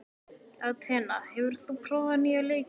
Atena, hefur þú prófað nýja leikinn?